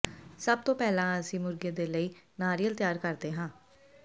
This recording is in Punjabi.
ਸਭ ਤੋਂ ਪਹਿਲਾਂ ਅਸੀਂ ਮੁਰਗੇ ਦੇ ਲਈ ਨਾਰੀਅਲ ਤਿਆਰ ਕਰਦੇ ਹਾਂ